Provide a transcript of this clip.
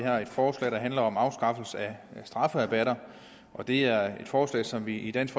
her et forslag der handler om afskaffelse af strafferabatter det er et forslag som vi i dansk